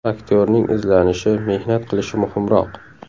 Aktyorning izlanishi, mehnat qilishi muhimroq.